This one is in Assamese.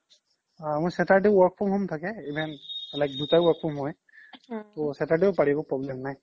মোৰ saturday work from home থাকে even দুটাই work from home য়ে তো saturday ও পাৰি problem নাই